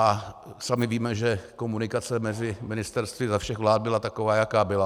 A sami víme, že komunikace mezi ministerstvy za všech vlád byla taková, jaká byla.